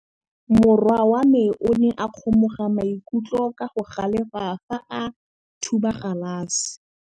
Morwa wa me o ne a kgomoga maikutlo ka go galefa fa a thuba galase.